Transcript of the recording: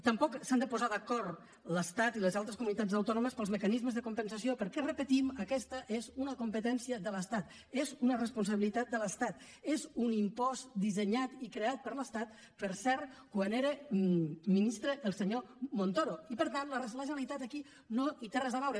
tampoc s’han de posar d’acord l’estat i les altres comunitats autònomes per als mecanismes de compensació perquè ho repetim aquesta és una competència de l’estat és una responsabilitat de l’estat és un impost dissenyat i creat per l’estat per cert quan era ministre el senyor montoro i per tant la generalitat aquí no hi té res a veure